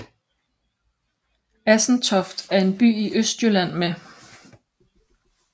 Assentoft er en by i Østjylland med